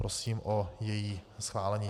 Prosím o její schválení.